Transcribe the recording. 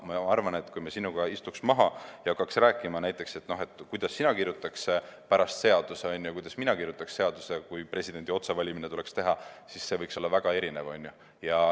Ma arvan, et kui me sinuga istuks maha ja hakkaks näiteks rääkima, kuidas sina kirjutaksid pärast seaduse ja kuidas mina kirjutaksin seaduse presidendi otsevalimise kohta, siis need seadused võiksid olla väga erinevad.